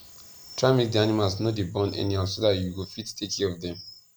try make di animals no dey born anyhow so dat u go fit take care of them